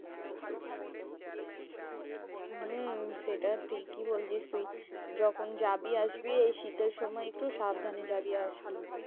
হম সেটা ঠিকই বলসিস তুই। যখন জাবি আসবি এই শীতের সময় একটু সাবধানে জাবি আসবি।